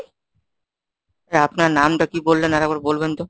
আপনার নামটা কি বললেন আরেকবার বলবেন তো?